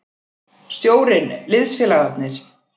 Stjórinn, liðsfélagarnir.